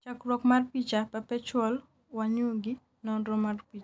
chakruok mar picha, Perpetual Wanyugi, nonro mar picha